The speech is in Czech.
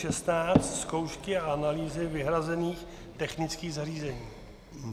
N616 - zkoušky a analýzy vyhrazených technických zařízení.